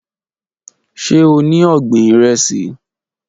Ṣe o ni ọgbin iresi?